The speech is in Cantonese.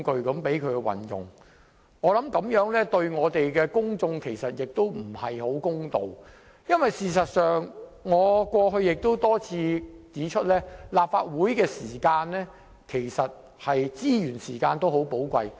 我認為這樣對公眾不太公道，因為正如我過去多次指出，立法會的時間及資源都很寶貴。